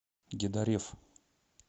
гедареф